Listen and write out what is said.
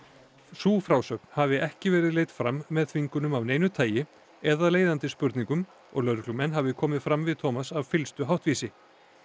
sú frásögn hafi ekki verið leidd fram með þvingunum af neinu tagi eða leiðandi spurningum og lögreglumenn hafi komið fram við af fyllstu háttvísi